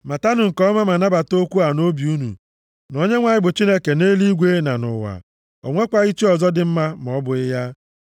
Matanụ nke ọma, ma nabata okwu a nʼobi unu na Onyenwe anyị bụ Chineke nʼeluigwe na nʼụwa. O nwekwaghị chi ọzọ dị ma ọ bụghị ya.